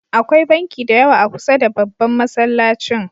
Akwai banki da yawa a kusar da babban Masallacin.